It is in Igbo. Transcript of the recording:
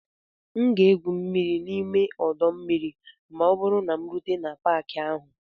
M ga-egwu mmiri n'ime ọdọ mmiri ma ọ bụrụ na m rute n'Paakị ahụ